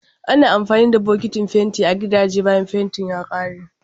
Ana amfani da bokitin fenti a gidaje bayan fentin ya kare.